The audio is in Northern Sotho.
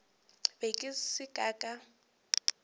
be ke se ka ka